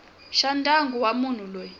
xa ndyangu wa munhu loyi